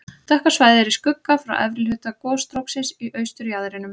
Dökka svæðið er í skugga frá efri hluta gosstróksins í austurjaðrinum.